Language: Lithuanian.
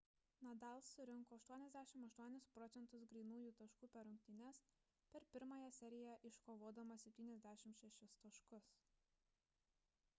nadal surinko 88% grynųjų taškų per rungtynes per pirmąją seriją iškovodamas 76 taškus